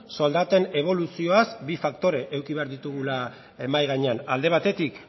soldaten eboluzioaz bi faktore eduki behar ditugula mahai gainean alde batetik